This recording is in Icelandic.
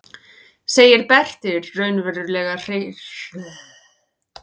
segir Berti raunverulega hneykslaður.